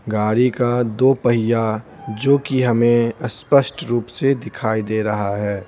गाड़ी का दो पहिया जो कि हमें स्पष्ट रूप से दिखाई दे रहा है।